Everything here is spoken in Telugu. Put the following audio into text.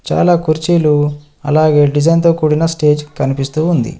చాలా కుర్చీలు అలాగే డిజైన్తో కూడిన స్టేజ్ కనిపిస్తూ ఉంది.